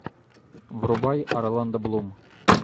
врубай орландо блум